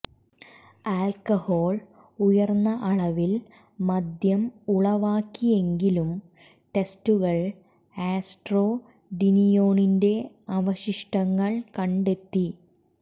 alcohol ഉയർന്ന അളവിൽ മദ്യം ഉളവാക്കിയെങ്കിലും ടെസ്ററുകൾ ആസ്ട്രോഡീനിയോണിന്റെ അവശിഷ്ടങ്ങൾ കണ്ടെത്തി